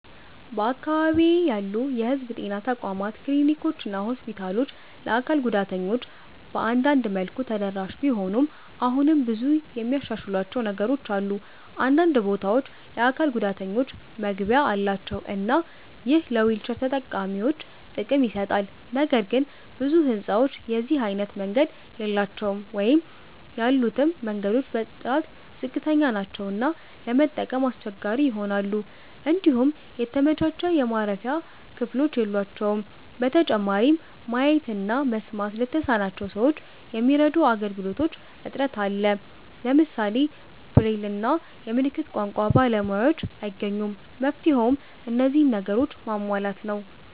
በአካባቢዬ ያሉ የህዝብ ጤና ተቋማት ክሊኒኮችና ሆስፒታሎች ለአካል ጉዳተኞች በአንዳንድ መልኩ ተደራሽ ቢሆኑም አሁንም ብዙ የሚያሻሽሏቸው ነገሮች አሉ። አንዳንድ ቦታዎች የአካል ጉዳተኞች መግቢያ አላቸው እና ይህ ለዊልቸር ተጠቃሚዎች ጥቅም ይሰጣል። ነገር ግን ብዙ ህንጻዎች የዚህ አይነት መንገድ የላቸውም ወይም ያሉትም መንገዶች በጥራት ዝቅተኛ ናቸው እና ለመጠቀም አስቸጋሪ ይሆናሉ። እንዲሁም የተመቻቸ የማረፊያ ክፍሎች የሏቸውም። በተጨማሪም ማየት እና መስማት ለተሳናቸው ሰዎች የሚረዱ አገልግሎቶች እጥረት አለ። ለምሳሌ ብሬል እና የምልክት ቋንቋ ባለሙያዎችን አይገኙም። መፍትሄውም እነዚህን ነገሮች ማሟላት ነው።